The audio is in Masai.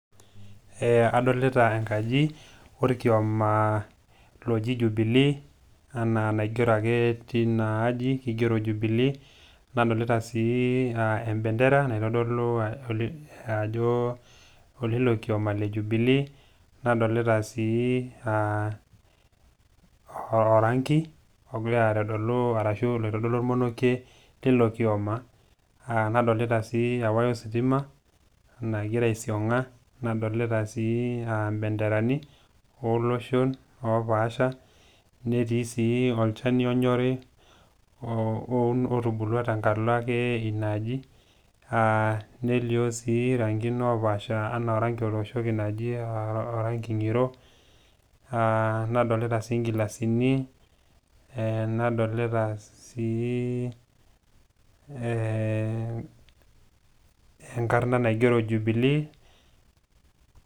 Adolita enkaji olkioma oji Jubilee anaa naigero ake teina aaji, eigero ajo Jubilee. Nadolita sii embendera naitodolu ajo oleilo kiomaa le Jubilee, nadolita sii orangi ogira aitodolu loitodoluaaki teilo kioma, nadolita sii ewaya o sitima nagira aisiong'a, nadolita sii impenderani oloshon opaasha, netii sii olchani onyori otubulua ake tembata inaaji, nelio sii irankin opaasha, anaa orangi otooshoki oji orangi ng'iro. Nadolita sii ingilasini , nadolita sii enkarna naji jubilee.